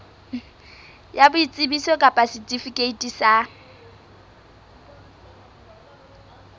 ya boitsebiso kapa setifikeiti sa